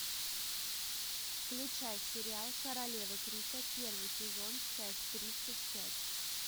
включай сериал королевы крика первый сезон часть тридцать пять